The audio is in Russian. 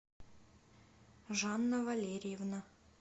жанна валерьевна